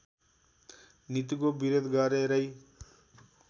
नीतिको विरोध गरेरै